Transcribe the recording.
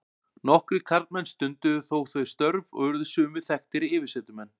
nokkrir karlmenn stunduðu þó þau störf og urðu sumir þekktir yfirsetumenn